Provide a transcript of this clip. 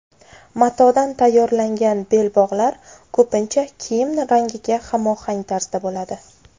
Matodan tayyorlangan belbog‘lar ko‘pincha kiyim rangiga hamohang tarzda bo‘ladi.